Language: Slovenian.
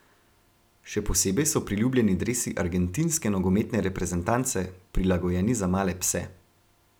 Še posebej so priljubljeni dresi argentinske nogometne reprezentance, prilagojeni za male pse.